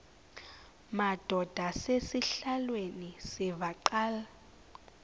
madod asesihialweni sivaqal